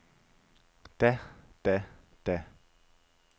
da da da